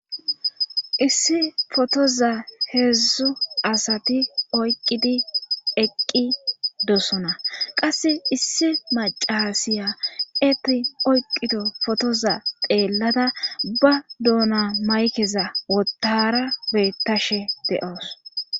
issi fotoza heedzdzu asati oyqqidi eqqi dosona qasse issi macasiya eti oyqqido fotoza xeellada ba doona maykeza wotara beettashe de7oos